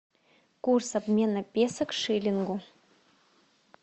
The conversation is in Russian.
курс обмена песо к шиллингу